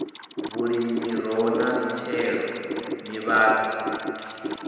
vhulimi miroho na mitshelo nḓivhadzo